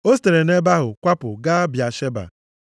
O sitere nʼebe ahụ kwapụ gaa Bịasheba.